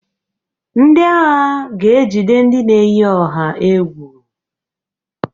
Ndị agha ga ejide ndị na-eyi ọha egwu.